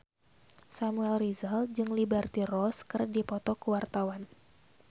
Samuel Rizal jeung Liberty Ross keur dipoto ku wartawan